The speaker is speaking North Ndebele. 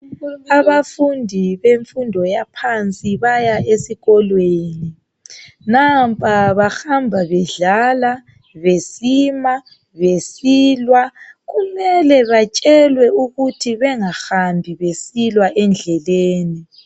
Abafundi bemfundo yaphansi baya esikolweni. Nampa bahamba bedlala besima besilwa , kumele batshelwe ukuthi bengahambi besilwa endleleni.